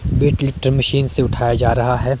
Wait lifter machine से उठाया जा रहा है।